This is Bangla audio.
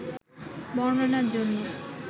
বর্ননার জন্য